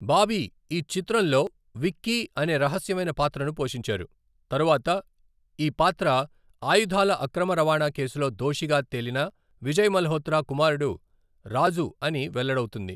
బాబీ ఈ చిత్రంలో విక్కీ అనే రహస్యమైన పాత్రను పోషించారు, తరువాత ఈ పాత్ర ఆయుధాల అక్రమ రవాణా కేసులో దోషిగా తేలిన విజయ్ మల్హోత్రా కుమారుడు రాజు అని వెల్లడవుతుంది.